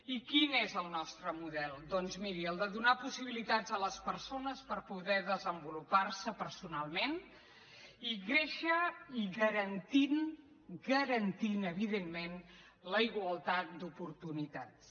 i quin és el nostre model doncs miri el de donar possibilitats a les persones per poder desenvolupar se personalment i créixer i garantint garantint evidentment la igualtat d’oportunitats